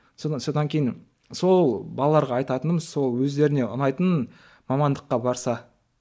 содан содан кейін сол балаларға айтатынымыз сол өздеріне ұнайтын мамандыққа барса